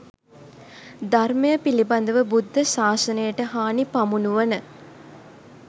ධර්මය පිළිබඳව බුද්ධ ශාසනයට හානි පමුණුවන